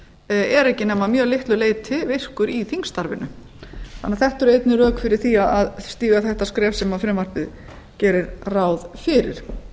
er ekki nema að mjög litlu leyti virkur í þingstarfinu þetta eru einnig rök fyrir því að stíga þetta skref sem frumvarpið gerir ráð fyrir